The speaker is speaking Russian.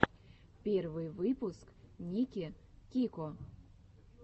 первый выпуск ники кико